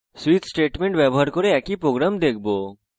আমরা switch ব্যবহার করে একই program দেখবো